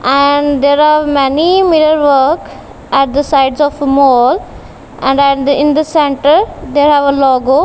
and there are many mirror work at the sides of a mall and in the centre they have a logo.